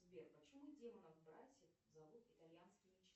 сбер почему демонов братьев зовут итальянские